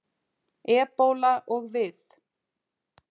Ebóla og við.